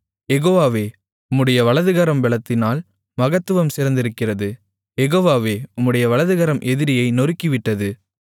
யெகோவாவே உம்முடைய வலதுகரம் பெலத்தினால் மகத்துவம் சிறந்திருக்கிறது யெகோவாவே உம்முடைய வலதுகரம் எதிரியை நொறுக்கிவிட்டது